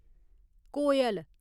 कोयल